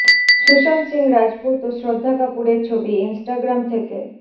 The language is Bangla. সুশান্ত সিং রাজপুত ও শ্রদ্ধা কাপুরের ছবি ইনস্টাগ্রাম থেকে